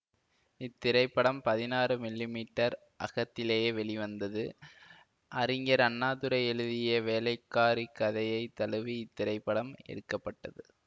இத்திரைப்படம் பதினாறு millimetre அகத்திலேயே வெளிவந்தது அறிஞர் அண்ணாதுரை எழுதிய வேலைக்காரி கதையை தழுவி இத்திரைப்படம் எடுக்க பட்டது